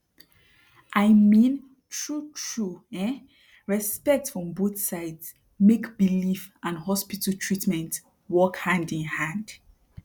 i mean trutru um respect from both sides make belief and hospital treatment work hand in hand